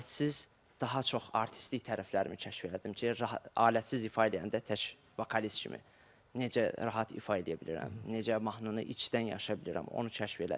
Alətsiz daha çox artistlik tərəflərimi kəşf elədim ki, rahat alətsiz ifa eləyəndə tək vokalist kimi necə rahat ifa eləyə bilirəm, necə mahnını içdən yaşaya bilirəm, onu kəşf elədim.